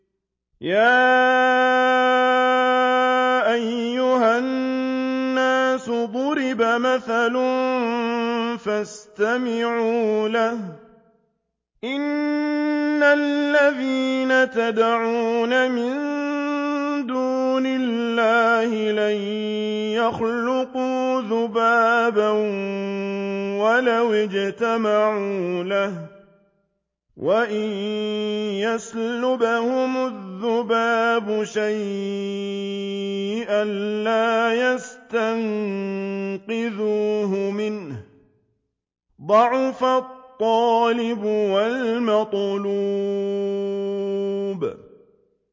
يَا أَيُّهَا النَّاسُ ضُرِبَ مَثَلٌ فَاسْتَمِعُوا لَهُ ۚ إِنَّ الَّذِينَ تَدْعُونَ مِن دُونِ اللَّهِ لَن يَخْلُقُوا ذُبَابًا وَلَوِ اجْتَمَعُوا لَهُ ۖ وَإِن يَسْلُبْهُمُ الذُّبَابُ شَيْئًا لَّا يَسْتَنقِذُوهُ مِنْهُ ۚ ضَعُفَ الطَّالِبُ وَالْمَطْلُوبُ